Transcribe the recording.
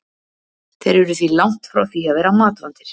Þeir eru því langt frá því að vera matvandir.